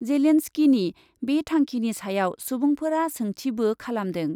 जेलेन्सकीनि बे थांखिनि सायाव सुबुंफोरा सोंथिबों खालामदों ।